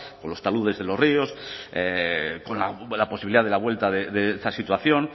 o los taludes de los ríos con la posibilidad de la vuelta de esa situación